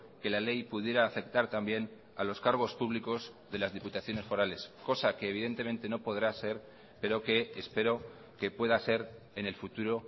que la ley pudiera afectar también a los cargos públicos de las diputaciones forales cosa que evidentemente no podrá ser pero que espero que pueda ser en el futuro